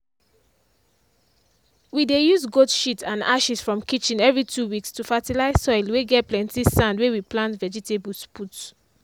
we dey use goat shit and ashes from kitchen every 2 weeks to fertilize soil whey get plenty sand whey we plant vegetables put.